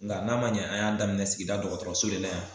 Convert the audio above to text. Nga n'a ma ɲɛ an y'a daminɛ sigida dɔgɔtɔrɔso de la yan